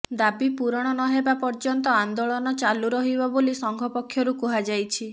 ଦାବି ପୂରଣ ନ ହେବା ପର୍ଯ୍ୟନ୍ତ ଆନ୍ଦୋଳନ ଚାଲୁ ରହିବ ବୋଲି ସଂଘ ପକ୍ଷରୁ କୁହାଯାଇଛି